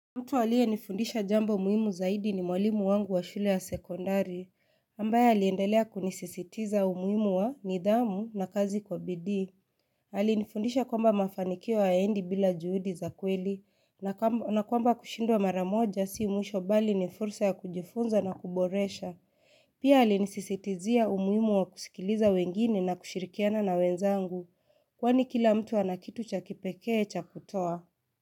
Mtu aliyenifundisha jambo muhimu zaidi ni mwalimu wangu wa shule ya sekondari, ambaye aliendelea kunisisitiza umuhimu wa nidhamu na kazi kwa bidii. Alinifundisha kwamba mafanikio hayaendi bila juhudi za kweli, na kwamba kushindwa mara moja si mwisho bali ni fursa ya kujifunza na kuboresha. Pia alinisisitizia umuhimu wa kusikiliza wengine na kushirikiana na wenzangu, kwani kila mtu ana kitu cha kipekee cha kutoa.